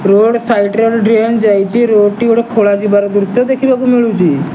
Road side ରେ drain ଯାଇଚି। Road ଟି ଗୋଟେ ଖୋଳାଯିବାର ଦୃଶ୍ୟ ଦେଖିବାକୁ ମିଳୁଚି।